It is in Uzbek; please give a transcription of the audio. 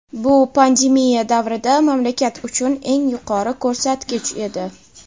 bu pandemiya davrida mamlakat uchun eng yuqori ko‘rsatkich edi.